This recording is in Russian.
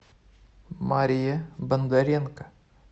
мария бондаренко